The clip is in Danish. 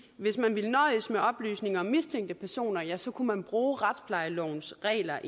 hvis man ville nøjes med oplysninger om mistænkte personer ja så kunne man bruge retsplejelovens regler